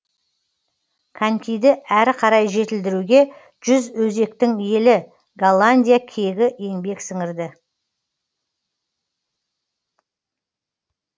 конькиді әрі қарай жетілдіруге жүз өзектің елі голландия кегі еңбек сіңірді